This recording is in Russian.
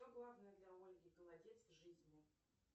что главное для ольги голодец в жизни